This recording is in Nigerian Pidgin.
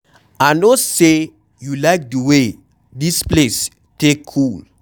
I no say you like the way dis place take cool.